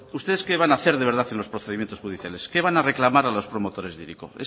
ustedes qué van a hacer de verdad en los procedimientos judiciales qué van a reclamar a los promotores de hiriko